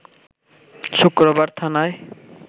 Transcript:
শুক্রবার থানায়